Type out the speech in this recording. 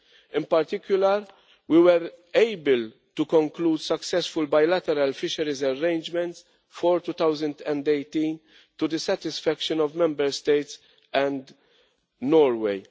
In particular, we were able to conclude successful bilateral fisheries arrangements for 2018 to the satisfaction of Member States and Norway.